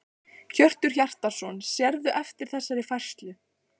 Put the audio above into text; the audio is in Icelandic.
Hjörtur Hjartarson: Sérðu eftir þessari færslu?